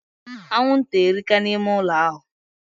Anwụnta erika na ime ụlọ ahụ